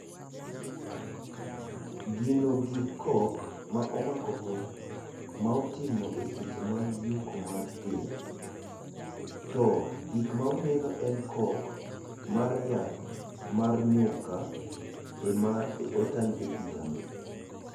Gino gi kok ma omako go ma otimo e seche mag yuko mar ther, to gikma uneno e kok mar yath mar nyuka ema otang e pichano